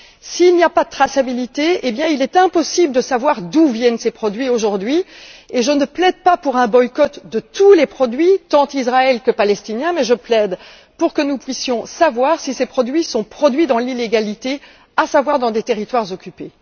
S'il n'y a pas de traçabilité, il est impossible de savoir d'où viennent ces produits aujourd'hui et je ne plaide pas pour un boycott de tous les produits tant israéliens que palestiniens mais je plaide pour que nous puissions savoir si ces produits sont élaborés dans l'illégalité à savoir dans des territoires occupés.